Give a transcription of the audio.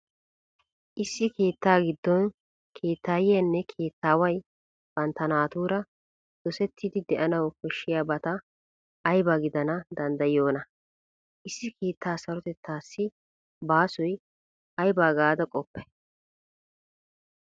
Issi keettaa giddon keettaayyiyanne keettaaway bantta naatuura dosettidi de'anawu koshshiyabati ayba gidana danddayiyoonaa? Issi keettaa sarotettaassi baasoy ayba gaada qoppay?